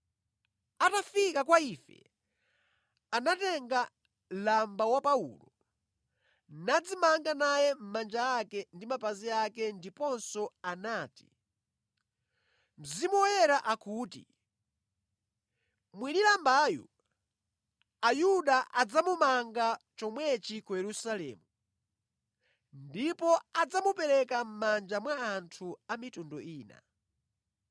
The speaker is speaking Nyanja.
Atafika kwa ife, anatenga lamba wa Paulo, nadzimanga naye manja ake ndi mapazi ake ndipo anati, “Mzimu Woyera akuti, ‘Mwini lambayu, Ayuda adzamumanga chomwechi ku Yerusalemu, ndipo adzamupereka mʼmanja mwa anthu a mitundu ina.’ ”